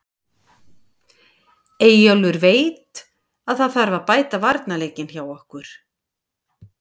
Eyjólfur veit að það þarf að bæta varnarleikinn hjá okkur.